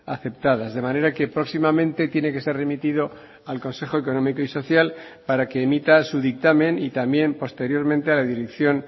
aceptadas de manera que próximamente tiene que ser remitido al consejo económico y social para que emita su dictamen y también posteriormente a la dirección